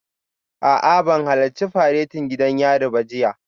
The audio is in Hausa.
A'a ban halarci faretin gidan yari ba jiya